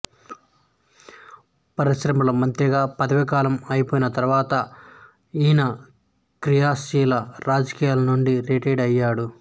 పరిశ్రమల మంత్రిగా పదవి కాలం అయిపోయిన తరువాత ఈయన క్రియాశీల రాజకీయాల నుండి రిటైర్ అయ్యాడు